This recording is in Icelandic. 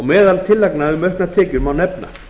meðal tillagna um auknar tekjur má nefna